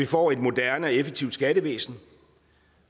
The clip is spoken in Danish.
få et moderne og effektivt skattevæsen